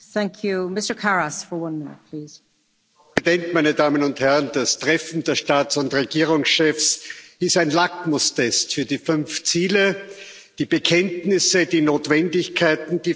Frau Präsidentin, meine Damen und Herren! Das Treffen der Staats und Regierungschefs ist ein Lackmustest für die fünf Ziele, die Bekenntnisse, die Notwendigkeiten, die Frau Merkel heute formuliert hat.